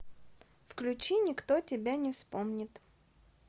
включи никто тебя не вспомнит